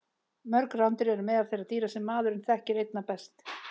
Mörg rándýr eru meðal þeirra dýra sem maðurinn þekkir einna best.